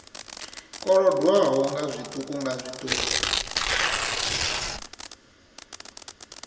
kolodwaho nga zwiṱuku nga zwiṱuku